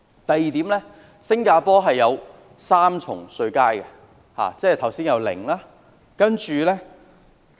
第二，新加坡有3級稅階，包括剛才所說的 0%。